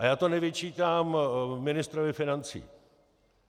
A já to nevyčítám ministrovi financí.